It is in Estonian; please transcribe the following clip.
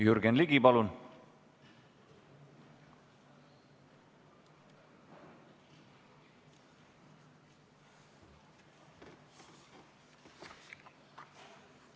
Jürgen Ligi, palun!